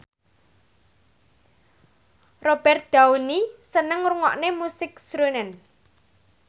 Robert Downey seneng ngrungokne musik srunen